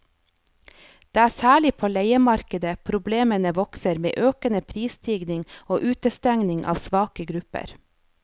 Det er særlig på leiemarkedet problemene vokser med økende prisstigning og utestengning av svake grupper.